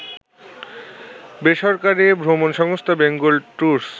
বেসরকারী ভ্রমণসংস্থা Bengal tours